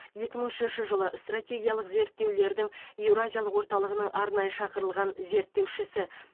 екі мың үшінші жылы стратегиялық зерттеулердің еуразиялық орталығының арнайы шақырылған зерттеушісі